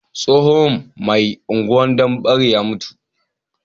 Tsohon mai unguwar danbare ya mutu